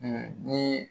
ni